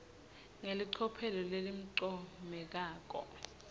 ngelicophelo lelincomekako